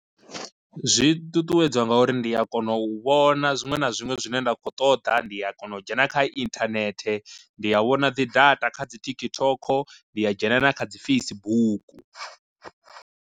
Zwi ṱuṱuwedzwa ngauri ndi a kona u vhona zwiṅwe na zwiṅwe zwine nda kho ṱoḓa ndi a kona u dzhena kha inthanethe ndi a vhona dzi data kha dzi TikTok, ndi a dzhena na kha dzi Facebook.